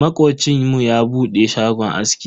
Makocinmu ya bude shagon aski.